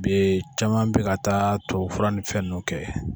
Bi caman be ka taa tubabufura nin fɛn nunnu kɛ